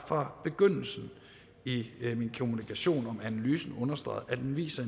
fra begyndelsen i min kommunikation om analysen har understreget at den viser